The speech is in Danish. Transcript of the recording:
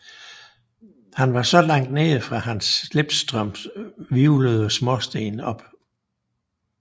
Han var så langt nede at hans slipstrøm hvirvlede småsten op